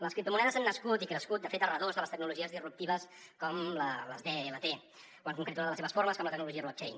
les criptomonedes han nascut i crescut de fet a redós de les tecnologies disruptives com les dlt o en concret una de les seves formes com la tecnologia block chain